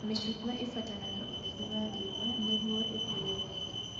Mĩcungwa ĩbataraga ũtheri wa riũa nĩguo ĩkũre wega